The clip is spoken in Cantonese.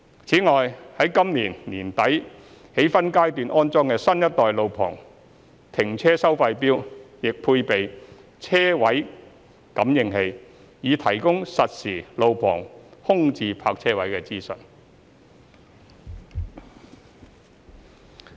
此外，於今年年底起分階段安裝的新一代路旁停車收費錶亦配備車位感應器，以提供實時路旁空置泊車位資訊。